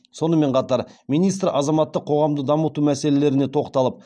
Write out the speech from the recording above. сонымен қатар министр азаматтық қоғамды дамыту мәселелеріне тоқталып